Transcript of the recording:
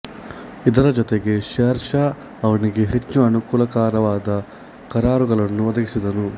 ಇದರ ಜೊತೆಗೆ ಶೇರ್ ಶಾ ಅವನಿಗೆ ಹೆಚ್ಚು ಅನುಕೂಲಕರವಾದ ಕರಾರುಗಳನ್ನು ಒದಗಿಸಿದನು